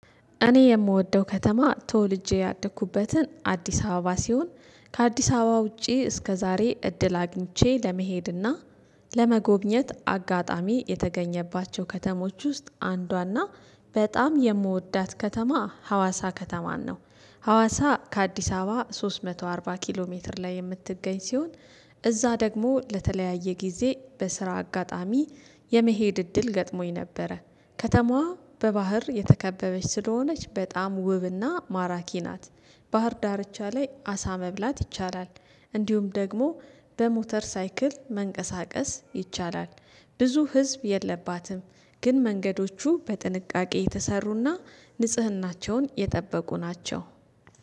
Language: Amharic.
እኔ የምወደው ከተማ ተወልጄ ያደኩበትን አዲስ አበባ ሲሆን ከአዲስ አበባ ውጪ እስከ ዛሬ እድል አግኝቼ ለመሄድና ለመጎብኘት አጋጣሚ የተገኘባቸው ከተሞች ውስጥ አንዷና በጣም የምወዳት ከተማ ሀዋሳ ከተማን ነው። ሀዋሳ ከአዲስ አበባ ሶስት መቶ አርባ ኪሎ ሜትር ላይ የምትገኝ ሲሆን እዛ ደግሞ ለተለያየ ጊዜ በስራ አጋጣሚ የመሄድ እድል ገጥሞኝ ነበረ ከተማዋ በባህር የተከበበች ስለሆነች በጣም ውብና ማራኪ ናት። ባህር ዳርቻ ላይ አሳ መብላት ይቻላል እንዲሁም ደግሞ በሞተር ሳይክል መንቀሳቀስ ይቻላል ፈ። ብዙ ህዝብ የለባትም ግን መንገዶቹ በጥንቃቄ የተሰሩና ንጽህናቸውን የጠበቁ ናቸው።